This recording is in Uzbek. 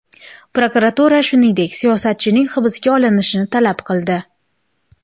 Prokuratura, shuningdek, siyosatchining hibsga olinishini talab qildi.